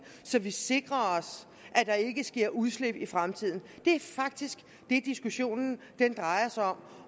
så vi sikrer os at der ikke sker udslip i fremtiden det er faktisk det diskussionen drejer sig om